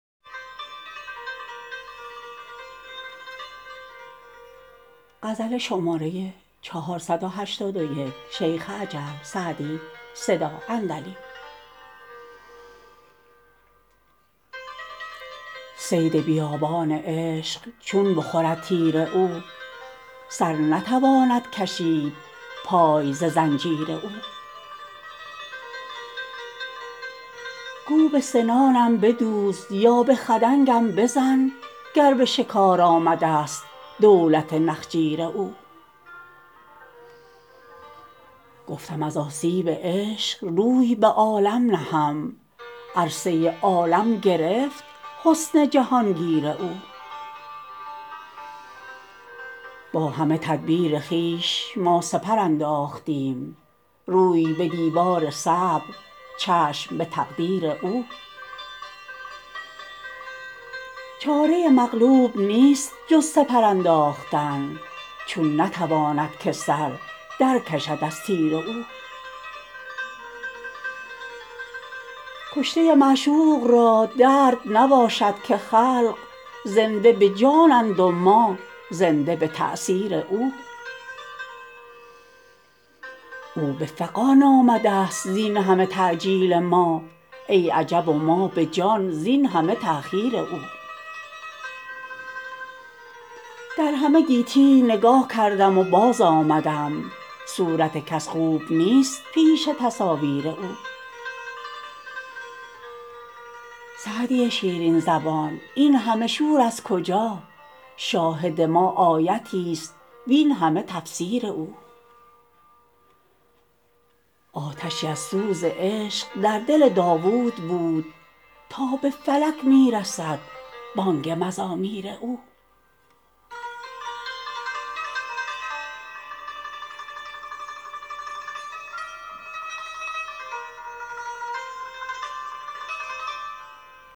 صید بیابان عشق چون بخورد تیر او سر نتواند کشید پای ز زنجیر او گو به سنانم بدوز یا به خدنگم بزن گر به شکار آمده ست دولت نخجیر او گفتم از آسیب عشق روی به عالم نهم عرصه عالم گرفت حسن جهان گیر او با همه تدبیر خویش ما سپر انداختیم روی به دیوار صبر چشم به تقدیر او چاره مغلوب نیست جز سپر انداختن چون نتواند که سر در کشد از تیر او کشته معشوق را درد نباشد که خلق زنده به جانند و ما زنده به تأثیر او او به فغان آمده ست زین همه تعجیل ما ای عجب و ما به جان زین همه تأخیر او در همه گیتی نگاه کردم و باز آمدم صورت کس خوب نیست پیش تصاویر او سعدی شیرین زبان این همه شور از کجا شاهد ما آیتی ست وین همه تفسیر او آتشی از سوز عشق در دل داوود بود تا به فلک می رسد بانگ مزامیر او